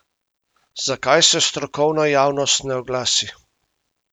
Zakaj se strokovna javnost ne oglasi?